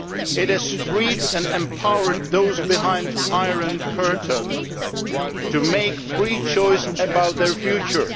It has freed and empowered those behind the Iron Curtain to make a free choice about their future.